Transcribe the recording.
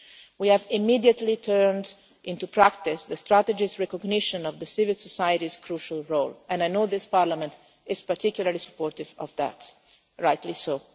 session. We have immediately turned into practice the Strategy's recognition of the civil society's crucial role, and I know this Parliament is particularly supportive of that rightly